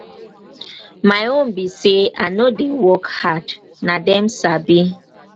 my own be say i no i dey work hard na dem sabi.